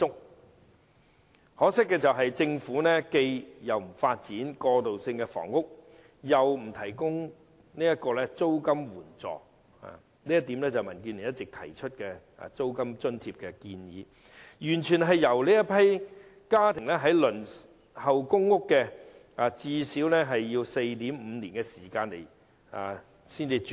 很可惜，政府既不發展過渡性房屋，又不接納民主建港協進聯盟的建議提供租金津貼，完全任由這些家庭最少須輪候 4.5 年才能"上樓"。